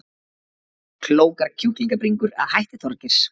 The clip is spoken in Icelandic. Klókar kjúklingabringur að hætti Þorgeirs